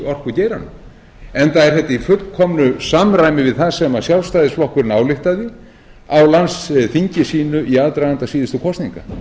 orkugeiranum enda er þetta í fullkomnu samræmi við það sem sjálfstæðisflokkurinn ályktaði á landsþingi sínu í aðdraganda síðustu kosninga